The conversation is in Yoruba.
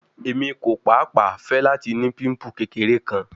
Emi ko paapaa fẹ lati ni pimple kekere kan